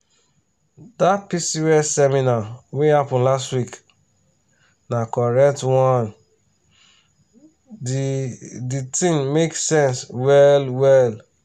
dat pcos seminar wey happen last week na correct one di di thing make sense well-well.